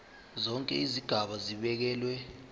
zonke izigaba zibekelwe